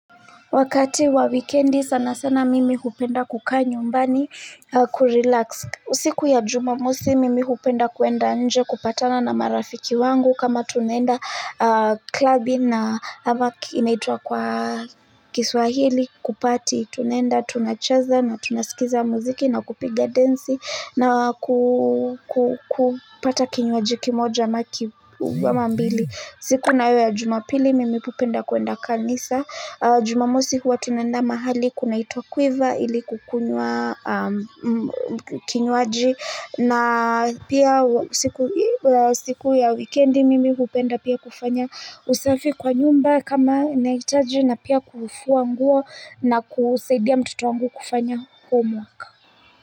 Wakati wa wikendi sana sana mimi hupenda kukaa nyumbani kurelax. Siku ya jumamosi mimi hupenda kuenda nje kupatana na marafiki wangu kama tunaenda klabu na ama inaitwa kwa kiswahili kuparty tunaenda tunacheza na tunasikiza muziki na kupigia dansi na kupata kinywaji ki moja ama ki ama mbili. Siku nayo ya jumapili mimi hupenda kwenda kanisa, jumamosi huwa tunaenda mahali kuna itwa quiver ili kukunywa kinywaji na pia siku ya wikedi mimi hupenda pia kufanya usafi kwa nyumba kama nahitaji na pia kufua nguo na kusaidia mtoto wangu kufanya homework.